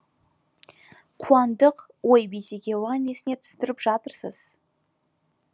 қуандық ой бейсеке оған несіне түсіндіріп жатырсыз